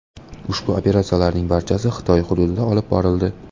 Ushbu operatsiyalarning barchasi Xitoy hududida olib borildi.